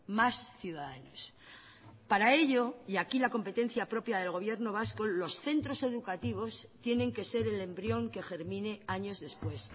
más ciudadanos para ello y aquí la competencia propia del gobierno vasco los centros educativos tienen que ser el embrión que germine años después